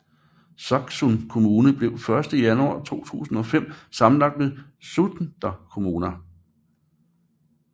Saksun kommune blev 1 januar 2005 sammenlagt med Sunda kommuna